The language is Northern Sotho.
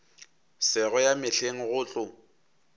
sego ya mehleng go tlo